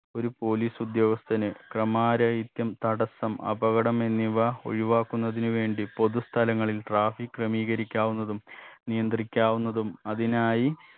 ഒരു police ഉദ്യോഗസ്ഥന് ക്രമാരഹിത്യം തടസ്സം അപകടം എന്നിവ ഒഴിവാക്കുന്നതിന് വേണ്ടി പൊതു സ്ഥലങ്ങളിൽ traffic ക്രമീകരിക്കാവുന്നതും നിയന്ത്രിക്കാവുന്നതും അതിനായി